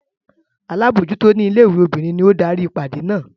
Alábòójútó ilé-ìwé obìnrin ni ó darí ìpàdé náà.